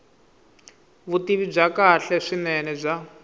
vutivi byo kahle swinene bya